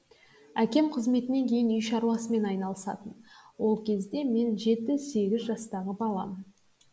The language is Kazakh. әкем қызметінен кейін үй шаруасымен айналысатын ол кезде мен жеті сегіз жастағы баламын